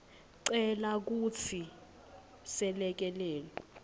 cela kutsi selekelelo